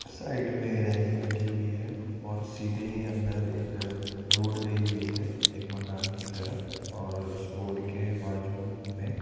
side में railing लगी हुई है और सीधे ही अंदर एक रोड गई हुई है एक मकान की तरफ और उस रोड के बाजू में --